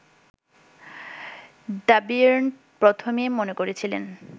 দ্যবিয়ের্ন প্রথমে মনে করেছিলেন